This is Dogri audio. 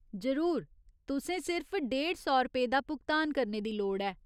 जरूर, तुसें सिर्फ डेढ़ सौ रपेऽ दा भुगतान करने दी लोड़ ऐ।